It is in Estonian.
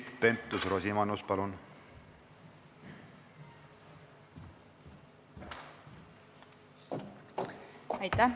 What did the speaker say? Keit Pentus-Rosimannus, palun!